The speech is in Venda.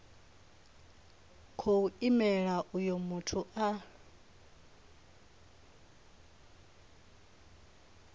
khou imela uyo muthu a